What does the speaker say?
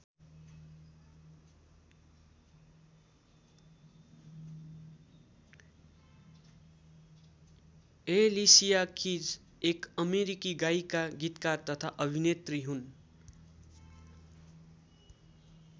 Alicia Keys एक अमेरिकी गायिका गीतकार तथा अभिनेत्री हुन्।